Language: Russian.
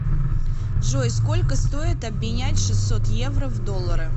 джой сколько стоит обменять шестьсот евро в доллары